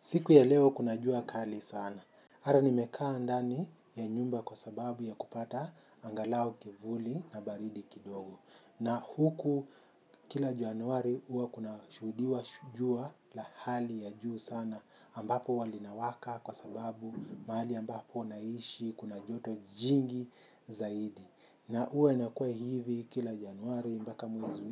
Siku ya leo kuna jua kali sana. Hata nimekaa ndani ya nyumba kwa sababu ya kupata angalau kivuli na baridi kidogo. Na huku kila januari huwa kuna shuhudiwa jua la hali ya juu sana ambapo huwa linawaka kwa sababu mahali ambapo naishi kuna joto jingi zaidi. Na huwa inakuwa hivi kila januari mpaka mwezi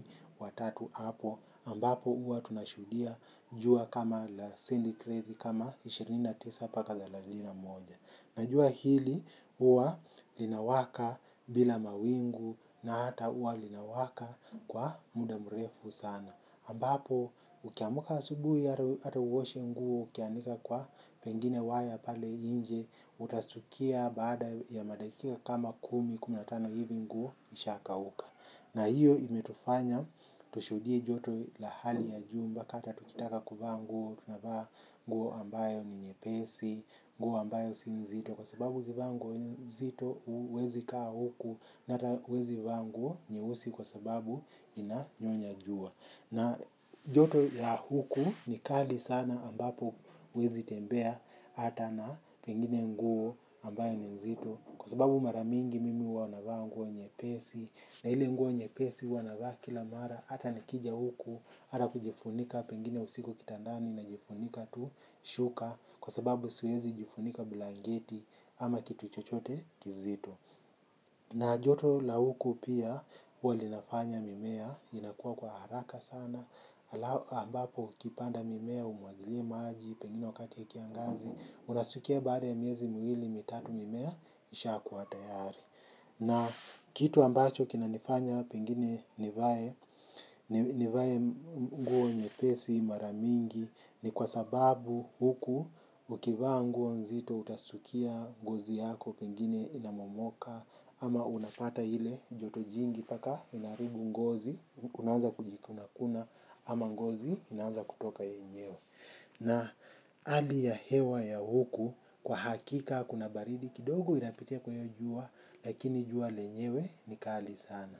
wa tatu hapo ambapo huwa tunashuhudia jua kama la centigrade kama ishirini na tisa mpaka thelathini na moja. Najua hili huwa linawaka bila mawingu na hata huwa linawaka kwa muda mrefu sana. Ambapo ukiamka asubuhi hata uoshe nguo ukianika kwa pengine waya pale inje utastukia baada ya madakika kama kumi kumi na tano hivi nguo ishakauka. Na hiyo imetufanya tushuhudie joto la hali ya jumba hata tukitaka kuvaa nguo tunavaa nguo ambayo ni nyepesi, nguo ambayo si nzito kwa sababu ukivaa nguo nzito huwezi kaa huku na hata huwezi vaa nguo nyeusi kwa sababu inanyonya jua. Na joto ya huku ni kadi sana ambapo huwezi tembea hata na pengine nguo ambaye ni nzito kwa sababu mara mingi mimi huwa navaa nguo nyepesi na ile nguo nyepesi huwa navaa kila mara hata nikija huku hata kujifunika pengine usiku kitandani najifunika tu shuka kwa sababu siwezi jifunika blanketi ama kitu chochote kizito. Na joto la huku pia huwa linafanya mimea, inakuwa kwa haraka sana, ambapo ukipanda mimea umwagilie maji, pengine wakati ya kiangazi, unastukia baada ya miezi mwili mitatu mimea, isha kuwa tayari. Na kitu ambacho kina nifanya pengine nivae nivae mguo nyepesi mara mingi ni kwa sababu huku ukivaa nguo nzito utastukia ngozi yako pengine inamomoka ama unapata ile joto jingi mpaka inaharibu ngozi unaanza kujikuna kuna ama ngozi inaanza kutoka yenyewe. Na hali ya hewa ya huku kwa hakika kuna baridi kidogo inapitia kwa hiyo jua lakini jua lenyewe ni kali sana.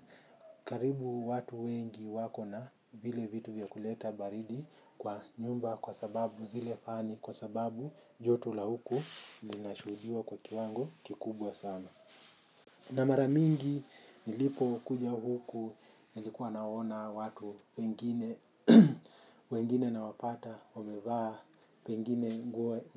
Karibu watu wengi wako na vile vitu vya kuleta baridi kwa nyumba kwa sababu zile fani kwa sababu joto la huku lina shuhudiwa kwa kiwango kikubwa sana. Na mara mingi nilipokuja huku nilikuwa naona watu pengine wengine nawapata wamevaa, pengine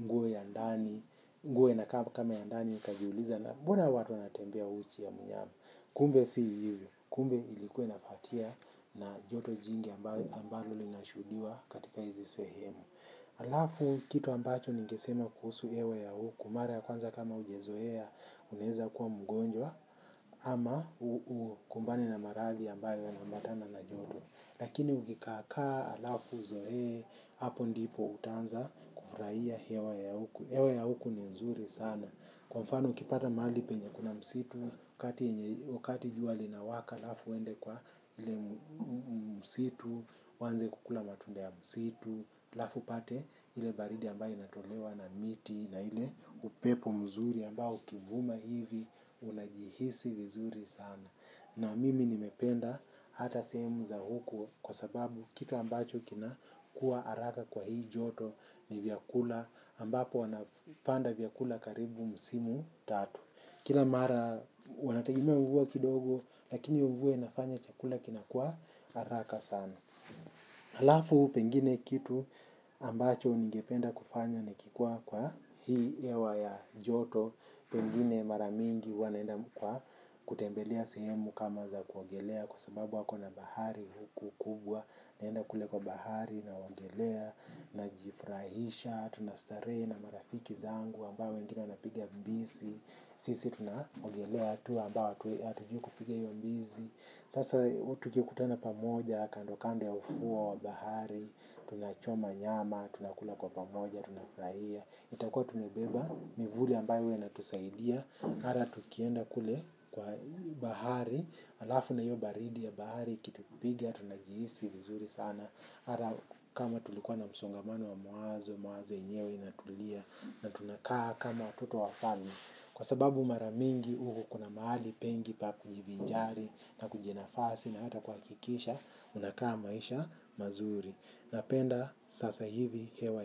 nguo ya ndani, nguo inakaa kama ya ndani nikajiuliza na mbona watu wanatembea uchi ya mnyama. Kumbe si hivyo, kumbe ilikuwa inapatia na joto jingi ambalo linashuhudiwa katika hizi sehemu. Halafu kitu ambacho ningesema kuhusu hewa ya huku, mara ya kwanza kama hujazoea unaeza kuwa mgonjwa ama ukumbane na marathi ambayo yana ambatana na joto. Lakini ukikaakaa halafu uzoe, hapo ndipo utaanza kufurahia hewa ya huku. Hewa ya huku ni nzuri sana. Kwa mfano ukipata mahali penye kuna msitu, wakati jua linawaka, halafu uende kwa ile msitu, uanze kukula matunda ya msitu. Halafu upate ile baridi ambayo inatolewa na miti na ile upepo mzuri ambao ukivuma hivi unajihisi vizuri sana na mimi nimependa hata sehemu za huku kwa sababu kitu ambacho kinakuwa haraka kwa hii joto ni vyakula ambapo wanapanda vyakula karibu msimu tatu kila mara wanategemea mvua kidogo lakini hiyo mvua inafanya chakula kinakuwa haraka sana halafu pengine kitu ambacho ningependa kufanya nikikuqa kwa hii hewa ya joto. Pengine mara mingi huwa naenda kwa kutembelea sehemu kama za kuogelea. Kwa sababu wako na bahari huku kubwa. Naenda kule kwa bahari naogelea najifurahisha. Tunastarehe na marafiki zangu ambayo wengine wana pigia mbizi. Sisi tunaogelea tu ambao hatujui kupiga hiyo mbizi. Sasa tukikutana pamoja, kando kando ya ufuo wa bahari, tunachoma nyama, tunakula kwa pamoja, tunafurahia. Itakua tunabeba, mivuli ambayo huwa inatusaidia, hata tukienda kule kwa bahari, halafu na hiyo baridi ya bahari, ikitupigia, tunajihisi vizuri sana. Hata kama tulikuwa na msongamano wa mawazo, mawazo yenyewe inatulia, na tunakaa kama watoto wa wafalme. Kwa sababu mara mingi huku kuna mahali pengi pa kujivinjari na kujinafasi na hata kuhakikisha unakaa maisha mazuri. Napenda sasa hivi hewa.